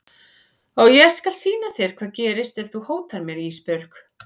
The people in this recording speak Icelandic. Og ég skal sýna þér hvað gerist ef þú hótar mér Ísbjörg.